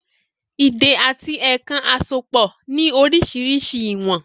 “Ìdè àti èèkàn àsopọ̀ ni orísirísi ìwọ̀n